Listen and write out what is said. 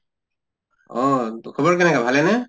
অহ খবৰ কেনেকা, ভালে নে?